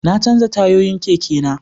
Na canja tayoyin keke na